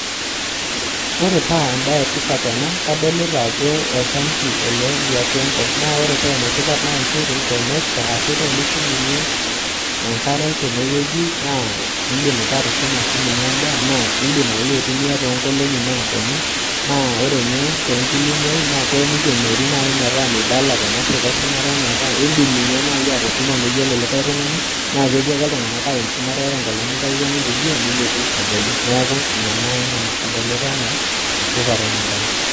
ore paa embaye e tipat ena naa kadolita ajo oltanki liatua enkop ele naa indim atushumie enkare nindim sii doi atushumie endaa tenelo nelotu olameyu nindim atumia tenkae rishata indim ninye aikenoi ata enaalo e shumata metaa meeta ninye oltungani odol